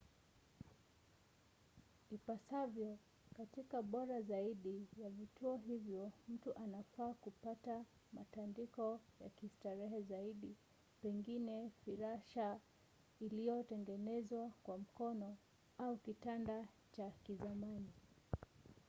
ipasavyo katika bora zaidi ya vituo hivyo mtu anafaa kupata matandiko ya kistarehe zaidi pengine firasha iliyotengenezwa kwa mkono au kitanda cha kizamani